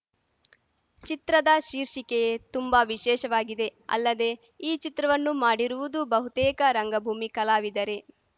ಚಿತ್ರದ ಶೀರ್ಷಿಕೆಯೇ ತುಂಬಾ ವಿಶೇಷವಾಗಿದೆ ಅಲ್ಲದೆ ಈ ಚಿತ್ರವನ್ನು ಮಾಡಿರುವುದು ಬಹುತೇಕ ರಂಗಭೂಮಿ ಕಲಾವಿದರೆ